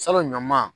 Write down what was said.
Salon ɲɔ man